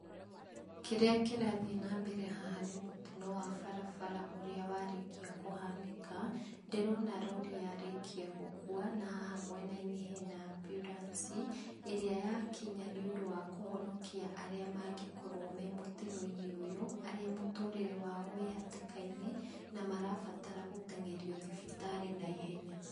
Kĩrĩa kĩrathiĩ na mbere haha nĩ mũtino wa barabara ũrĩa warĩkia kũhanĩka. Ndĩrona roori yarĩkia gũkua na haha mwena-inĩ hena ambulance ĩrĩa yakinya nĩ ũndũ wa kũhonokia arĩa mangĩkorwo me mũtino-inĩ ũyũ, arĩa mũtũrĩre wao wĩ hatĩkainĩ na marabatara gũteng'erio thibitarĩ na ihenya.